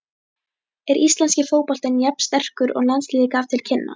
Er íslenski fótboltinn jafn sterkur og landsliðið gaf til kynna?